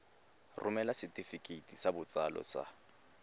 romela setefikeiti sa botsalo sa